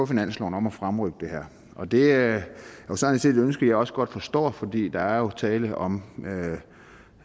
finansloven om at fremrykke det her og det er sådan set et ønske jeg også godt forstår for der er jo tale om